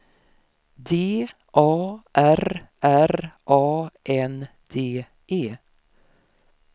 D A R R A N D E